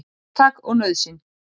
Hugtak og nauðsyn.